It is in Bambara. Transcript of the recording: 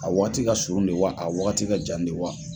A waati ka surun de wa a wagati ka jan de wa